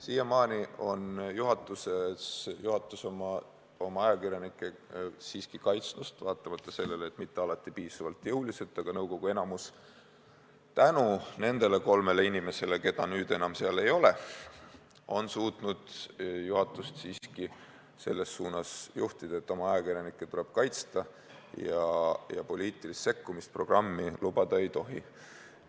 Siiamaani on juhatus oma ajakirjanikke siiski kaitsnud, kuigi mitte alati piisavalt jõuliselt, aga nõukogu enamik tänu nendele kolmele inimesele, keda nüüd seal enam ei ole, on suutnud juhatust siiski selles suunas juhtida, et oma ajakirjanikke tuleb kaitsta ja poliitilist programmi sekkumist lubada ei tohi.